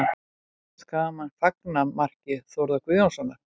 Skagamenn fagna marki Þórðar Guðjónssonar